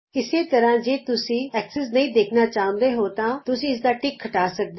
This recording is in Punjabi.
ਇਸੇ ਤਰ੍ਹਾ ਜੇ ਤੁਸੀਂ ਧੁਰੇ ਨਹੀਂ ਦੇਖਣਾ ਚਾਹੁੰਦੇ ਤਾਂ ਤੁਸੀਂ ਇਸਦਾ ਟਿਕ ਹਟਾ ਸਕਦੇ ਹੋ